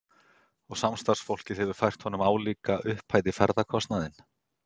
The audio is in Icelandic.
Og samstarfsfólkið hefur fært honum álíka upphæð í ferðakostnaðinn.